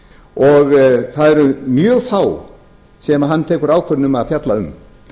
og það eru mjög fá sem hann tekur ákvörðun um að fjalla um